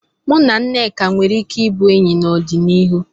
Mụ na Nneka nwere ike ịbụ enyi n'ọdịnihu.